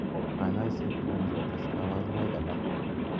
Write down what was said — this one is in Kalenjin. Kanyaishet komuchi kotes kabarunoik alak.